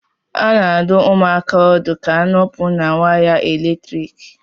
A na-adụ ụmụaka ọdụ ka ha nọpụ na waya eletrik